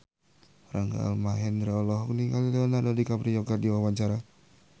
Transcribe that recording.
Rangga Almahendra olohok ningali Leonardo DiCaprio keur diwawancara